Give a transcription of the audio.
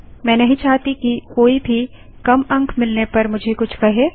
मैं नहीं चाहती कि कोई भी कम अंक मिलने पर मुझे कुछ कहे